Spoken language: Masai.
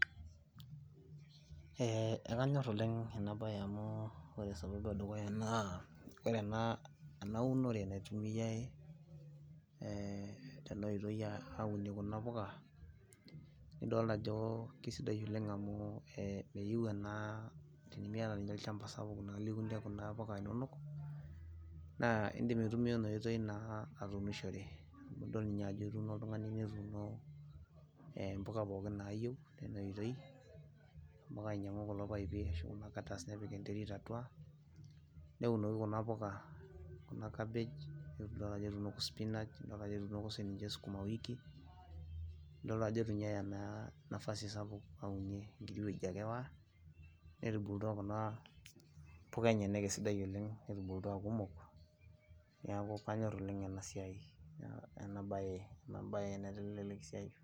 Idol ajo kisidai oleng' amu meyieu ena tenimiaata ninye olchamba sapuk naaji liunie kuna puka inonok, naa indim aitumia ina oitoi naa atuunishore. Amu idol ninye ajo etuuno oltungani netuuno mpuka pookin naayieu, tina oitoi, nelo ainyangu kulo paipi nepik enterit atua, neunoki kuna puka, kuna cabbage, nidol ajo etuunoki spinach, idol ajo etuunoko siininche skuma wiki, nidol ajo itu ninye eya naa nafasi sapuk naunie, enkiti wueji ake Ewa, netubulutua kuna puka enyenak esidai oleng'. Netubulutua aa kumok, neeku kanyorr oleng' ena siai ena bae naitelelek esiai.